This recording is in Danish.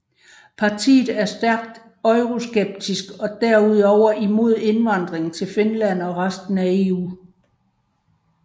Partiet er stærkt euroskeptisk og er derudover imod indvandring til Finland og resten af EU